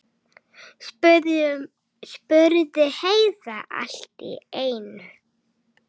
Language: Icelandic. spurði Heiða allt í einu.